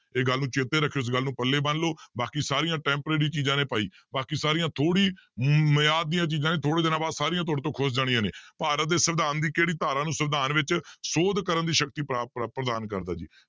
ਇਹ ਗੱਲ ਨੂੰ ਚੇਤੇ ਰੱਖਿਓ ਇਸ ਗੱਲ ਨੂੰ ਪੱਲੇ ਬੰਨ ਲਓ ਬਾਕੀ ਸਾਰੀਆਂ temporary ਚੀਜ਼ਾਂ ਨੇ ਭਾਈ ਬਾਕੀ ਸਾਰੀਆਂ ਥੋੜ੍ਹੀ ਮਿਆਦ ਦੀਆਂ ਚੀਜ਼ਾਂ ਨੇ ਥੋੜ੍ਹੇ ਦਿਨਾਂ ਬਾਅਦ ਸਾਰੀਆਂ ਤੁਹਾਡੇ ਤੋਂ ਖ਼ੁਸ ਜਾਣੀਆਂ ਨੇ, ਭਾਰਤ ਦੇ ਸਵਿਧਾਨ ਦੀ ਕਿਹੜੀ ਧਾਰਾ ਨੂੰ ਸਵਿਧਾਨ ਵਿੱਚ ਸੋਧ ਕਰਨ ਦੀ ਸ਼ਕਤੀ ਪ੍ਰਦਾਨ ਕਰਦਾ ਜੀ l